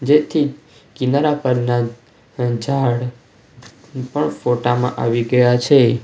જેથી કિનારા પરના ઝાડ પણ ફોટા માં આવી ગયા છે.